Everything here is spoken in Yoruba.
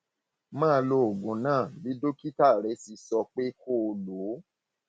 máa lo oògùn náà bí dókítà rẹ ṣe sọ pé kó o lò ó